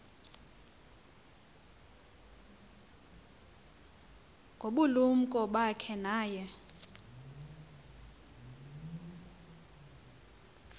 ngobulumko bakhe naye